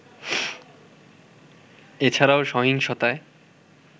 এছাড়াও সহিংসতায়